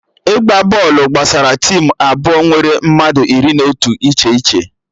Ịgba bọọlụ gbasara tim abụọ nwere mmadụ iri na otu iche iche